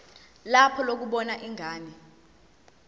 lakho lokubona ingane